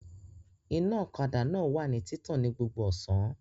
Iná ọ̀kadà náà wà ní títàn ní gbogbo ọ̀sán